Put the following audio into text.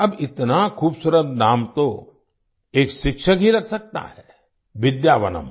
अब इतना खूबसूरत नाम तो एक शिक्षक ही रख सकता है विद्यावनम्